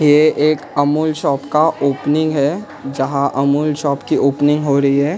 ये एक अमूल शॉप का ओपनिंग है जहां अमूल शॉप की ओपनिंग हो रही है।